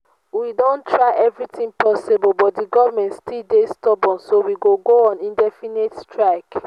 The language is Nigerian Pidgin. we don try everything possible but the government still dey stubborn so we go go on indefinite strike